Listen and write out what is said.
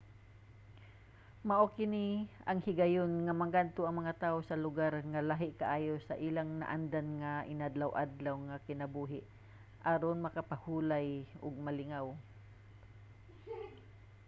mao ni ang higayon nga mangadto ang mga tawo sa lugar nga lahi kaayo sa ilang naandan nga inadlaw-adlaw nga kinabuhi aron makapahulay ug malingaw